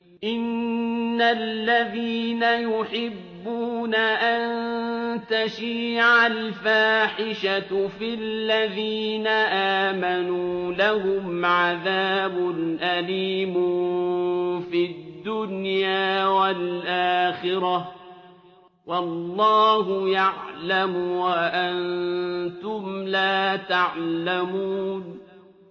إِنَّ الَّذِينَ يُحِبُّونَ أَن تَشِيعَ الْفَاحِشَةُ فِي الَّذِينَ آمَنُوا لَهُمْ عَذَابٌ أَلِيمٌ فِي الدُّنْيَا وَالْآخِرَةِ ۚ وَاللَّهُ يَعْلَمُ وَأَنتُمْ لَا تَعْلَمُونَ